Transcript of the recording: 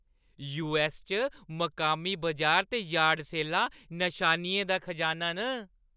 US च मकामी बजार ते यार्ड सेलां नशानियें दा खजाना न ।